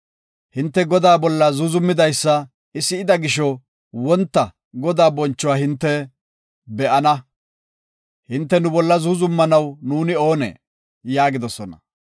Hinte Godaa bolla zuuzumidaysa I si7ida gisho, wonta Godaa bonchuwa hinte be7ana. Hinte nu bolla zuuzumanaw nuuni oonee?” yaagidosona.